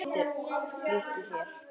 Flýttu þér.